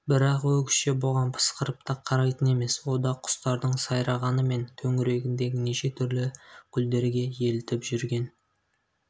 бірақ өгізше бұған пысқырып та қарайтын емес ода құстардың сайрағаны мен төңірегіндегі неше түрлі гүлдерге елітіп жүрген